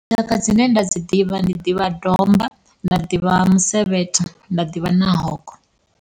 Tshaka dzine nda dzi ḓivha ndi ḓivha domba nda ḓivha musevhetho nda ḓivha na hogo.